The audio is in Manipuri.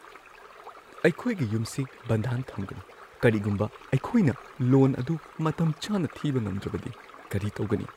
ꯑꯩꯈꯣꯏꯒꯤ ꯌꯨꯝꯁꯤ ꯕꯟꯙꯥꯟ ꯊꯝꯒꯅꯨ꯫ ꯀꯔꯤꯒꯨꯝꯕ ꯑꯩꯈꯣꯏꯅ ꯂꯣꯟ ꯑꯗꯨ ꯃꯇꯝꯆꯥꯅ ꯊꯤꯕ ꯉꯝꯗ꯭ꯔꯕꯗꯤ ꯀꯔꯤ ꯇꯧꯒꯅꯤ?